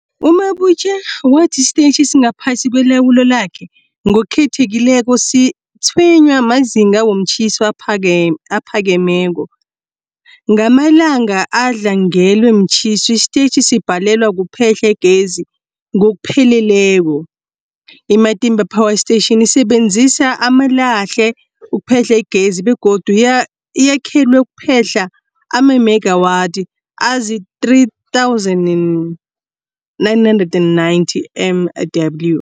U-Mabotja wathi isitetjhi esingaphasi kwelawulo lakhe, ngokukhethekileko, sitshwenywa mazinga womtjhiso aphakemeko. Ngamalanga adlangelwe mtjhiso, isitetjhi sibhalelwa kuphehla igezi ngokupheleleko. I-Matimba Power Station isebenzisa amalahle ukuphehla igezi begodu yakhelwe ukuphehla amamegawathi azii-3990 MW.